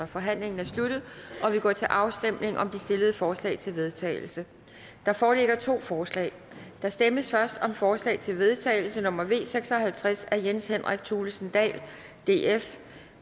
forhandlingen er sluttet og vi går til afstemning om de stillede forslag til vedtagelse der foreligger to forslag der stemmes først om forslag til vedtagelse nummer v seks og halvtreds af jens henrik thulesen dahl